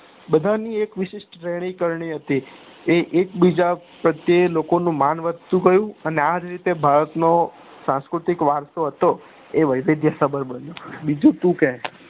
બધાની એક વિશિષ્ઠ એક રેહની કરણી હતી એ એક બીજા પ્રતે લોકો નું મન વધતું ગયું અને આજ રીતે ભારત નો સંસ્કૃતિક વરસો હતો એ બન્યું બીજુ તું કે